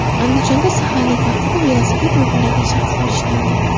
Andijonda saharlik vaqtida velosiped o‘g‘irlagan shaxslar ushlandi.